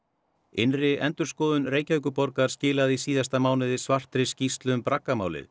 innri endurskoðun Reykjavíkurborgar skilaði í síðasta mánuði svartri skýrslu um